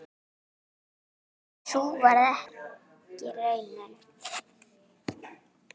En sú varð ekki raunin.